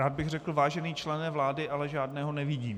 Rád bych řekl vážený člene vlády, ale žádného nevidím...